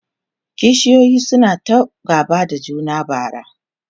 kishiyoyin suna ta gaba da juna bara